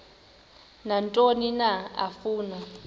nantoni na afuna